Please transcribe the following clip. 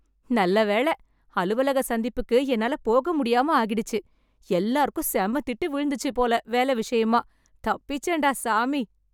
நல்ல வேளை, அலுவலக சந்திப்புக்கு என்னால போக முடியாம ஆகிடுச்சு. எல்லாருக்கும் செம திட்டு விழுந்துச்சு போல வேலை விஷயமா. தப்பிச்சேன்டா சாமி.